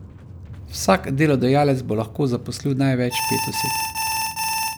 Vsak delodajalec bo lahko zaposlil največ pet oseb.